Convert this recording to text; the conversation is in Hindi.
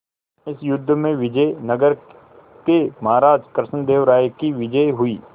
इस युद्ध में विजय नगर के महाराज कृष्णदेव राय की विजय हुई